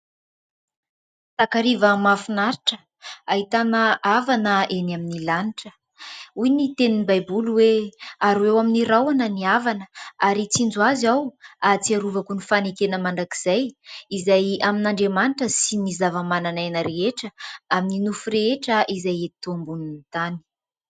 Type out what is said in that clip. Takariva mafinaritra ahitana avana eny amin'ny lanitra, hoy ny tenin'ny baiboly hoe : ary eo amin'ny rahona ny avana ary hitsinjo azy aho ary arovako ny fanekena mandrakizay izay amin'andriamanitra sy ny zava-manan'aina rehetra amin'ny nofo rehetra izay eto ambonin'ny tany.